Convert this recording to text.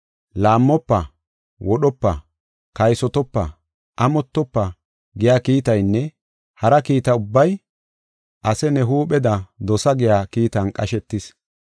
“Laammofa; wodhopa; kaysotopa; amottofa” giya kiitaynne hara kiita ubbay, “Ase ne huupheda dosa” giya kiitan qashetis.